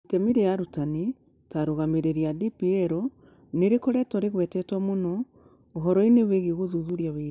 Itemi rĩa arutani ta arũngamĩri a DPL nĩ rĩkoretwo rĩgwetetwo mũno ũhoro-inĩ wĩgiĩ gũthuthuria ũira.